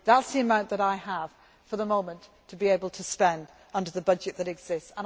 else. That is the amount that I have for the moment to be able to spend under the budget that